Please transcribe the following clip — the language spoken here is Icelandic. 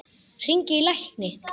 Hringi í lækni.